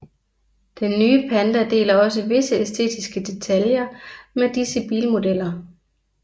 Den nye Panda deler også visse æstetiske detaljer med disse bilmodeller